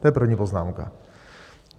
To je první poznámka.